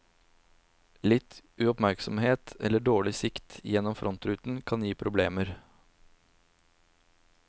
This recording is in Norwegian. Litt uoppmerksomhet eller dårlig sikt gjennom frontruten kan gi problemer.